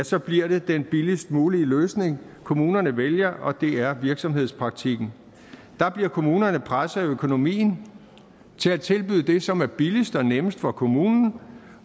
så bliver det den billigst mulige løsning kommunerne vælger og det er virksomhedspraktikken der bliver kommunerne presset af økonomien til at tilbyde det som er billigst og nemmest for kommunen